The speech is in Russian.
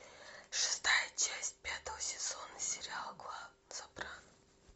шестая часть пятого сезона сериал клан сопрано